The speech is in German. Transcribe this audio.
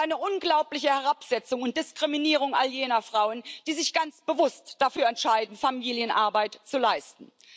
Das ist eine unglaubliche Herabsetzung und Diskriminierung all jener Frauen, die sich ganz bewusst dafür entscheiden, Familienarbeit zu leisten.